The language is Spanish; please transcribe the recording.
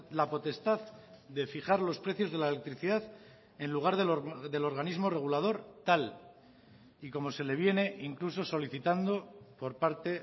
la potestad de fijar los precios de la electricidad en lugar del organismo regulador tal y como se le viene incluso solicitando por parte